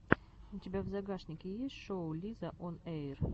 у тебя в загашнике есть шоу лизаонэйр